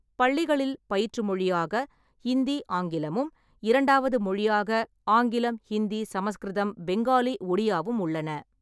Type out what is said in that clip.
பள்ளிகளில் பயிற்று மொழியாக இந்தி/ஆங்கிலமும், இரண்டாவது மொழியாக ஆங்கிலம்/ஹிந்தி/சமஸ்கிருதம்/பெங்காலி/ஒடியாவும் உள்ளன.